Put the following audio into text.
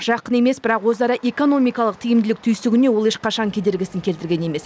жақын емес бірақ өзара экономикалық тиімділік түйсігіне ол ешқашан кедергісін келтірген емес